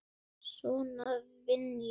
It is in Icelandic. Svona vinn ég.